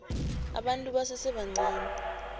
abantu abasese bancani